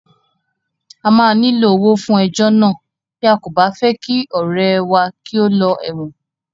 A máa nílò owó fún ejọ́ náà bí a kò bá fẹ́ kí ọ̀rẹ́ẹ wá kí ó lọ ẹ̀wọ̀n.